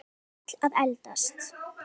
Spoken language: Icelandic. Við erum öll að eldast.